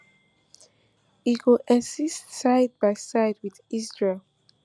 e go exist side by side wit israel